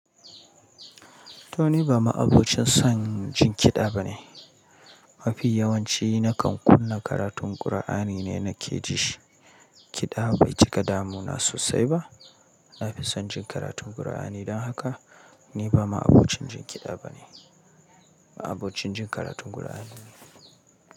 To ni ba ma'abocin son jin kiɗa bane. Mafi yawanci na kan kunna karatun Kur'ani ne na ke ji. Kiɗa bai cika damuna sosai ba. Na fi son jin karatun Kur'ani. Don haka ni ba ma'abocin jin kiɗa bane, ma'abocin jin karatun Kur'ani ne.